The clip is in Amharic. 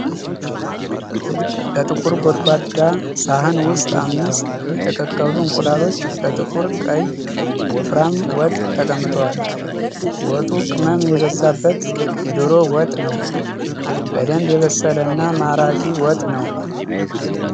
በጥቁር ጎድጓዳ ሳህን ውስጥ አምስት የተቀቀሉ እንቁላሎች በጥቁር ቀይ ወፍራም ወጥ ተጠምቀዋል። ወጡ ቅመም የበዛበት የዶሮ ወጥ ነው። በደንብ የበሰለና ማራኪ ወጥ ነው።